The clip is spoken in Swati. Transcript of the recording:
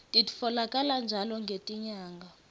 titfolakala njalo ngetinyanga